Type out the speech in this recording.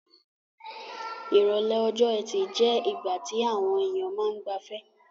Ìrọ̀lẹ́ ọjọ́-ẹtì je ìgbà ti àwon èyàn ma n gbafẹ́